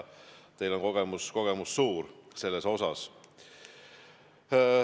Teil on suured kogemused selles osas.